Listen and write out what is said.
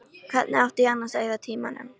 Hvernig átti ég annars að eyða tímanum?